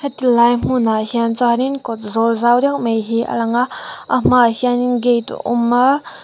heti lai hmunah hian chuanin kawt zawl zau deuh mai hi a lang a a hmaah hianin gate a awm a--